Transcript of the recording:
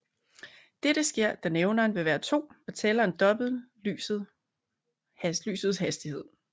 Dette sker da nævneren vil være 2 og tælleren dobbelt lysets hastighed